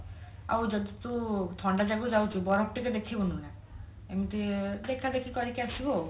ଆଉ ଯଦି ତୁ ଥଣ୍ଡା ଜାଗାକୁ ଯାଉଛୁ ବରଫ ଟିକେ ଦେଖିବୁନି ନା ଏମତି ଦେଖାଦେଖି କରିକି ଆସିବୁ ଆଉ